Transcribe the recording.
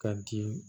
Ka di